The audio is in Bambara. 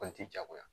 Kɔni ti jagoya